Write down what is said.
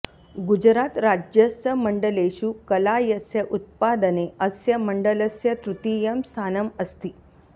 गुजरातराज्यस्य मण्डलेषु कलायस्य उत्पादने अस्य मण्डलस्य तृतीयं स्थानम् अस्ति